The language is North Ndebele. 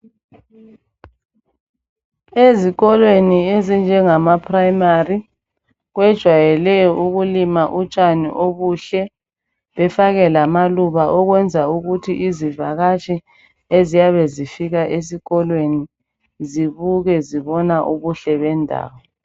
Ezikolweni ezinjengamaprimary, kwejwayele ukulima utshani obuhle. Befake lamaluba. Ukwenza ukuthi izivakatshi eziyabe zifika esikolweni, zibuke. Zibona ubuhle bendawo.